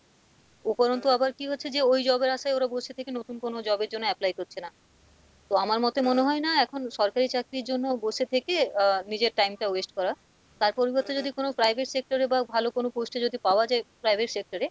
উপরন্তু আবার কী হচ্ছে যে ওই job এর আশায় ওরা বসে থেকে নতুন কোনো job এর জন্য apply করছে না তো আমার মতে মনে হয়না এখন সরকারি চাকরির জন্য বসে থেকে আহ নিজের time টা waste করা তার পরিবর্তে যদি কোনো private sector এ বা ভালো কোনো post এ যদি পাওয়া যায় private sector এ,